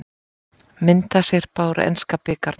Myndasyrpa úr enska bikarnum